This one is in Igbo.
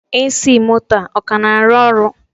AC moto a, ọ ka na-arụ ọrụ?